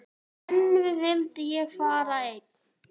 En nú vildi ég fá að vera einn.